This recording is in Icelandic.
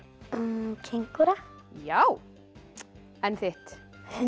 kengúra já en þitt